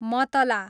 मतला